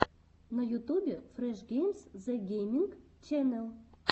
на ютубе фреш геймс зэ гейминг ченел